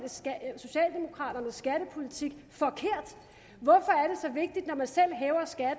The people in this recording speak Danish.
socialdemokraternes skattepolitik forkert hvorfor